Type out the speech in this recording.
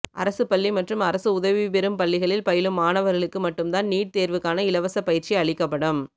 அரசுப் பள்ளி மற்றும் அரசு உதவிபெறும் பள்ளிகளில் பயிலும் மாணவர்களுக்கு மட்டும்தான் நீட் தேர்வுக்கான இலவச பயிற்சி அளிக்கப்படும்